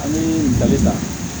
An bɛ ɲininkali ta